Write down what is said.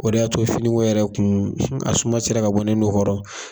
O de y'a to finiko yɛrɛ kun, a suma sera ka bɔ ne nun kɔrɔ.